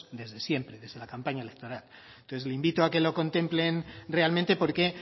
desde siempre desde la campaña electoral entonces le invito a que lo contemplen realmente porque